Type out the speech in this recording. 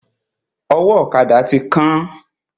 Ọwọ́ ọ̀kada ti kán.